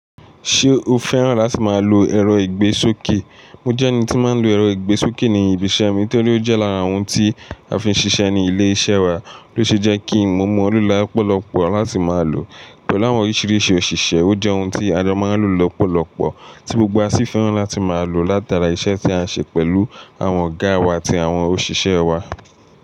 Ṣé o fẹ́ràn láti máa lo ẹ̀rọ ìgbésókè? Mo jẹ́ ẹni tí máa ń lo ẹ̀rọ ìgbésókè ní ibi iṣẹ́ mi torí ó jẹ́ lára ohun tí a fi ń ṣiṣẹ́ ní ilé iṣẹ́ wa ló ṣe jẹ́ kí mo mọ̀ ọ́n lọ́pọ̀lọpọ̀ láti máa lò. Pẹ̀lú àwọn oríṣiríṣi òṣìṣẹ́, ó jẹ́ ohun tí a máa ń lò lọ́pọ̀lọpọ̀ tí gbogbo wa sì fẹ́ràn láti máa lò látara iṣẹ́ tí a ń ṣe pẹ̀lú àwọn ọ̀gá wa àti àwọn òṣìṣẹ́ wa.